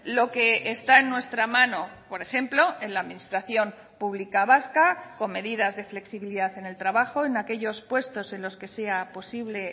lo que está en nuestra mano por ejemplo en la administración pública vasca con medidas de flexibilidad en el trabajo en aquellos puestos en los que sea posible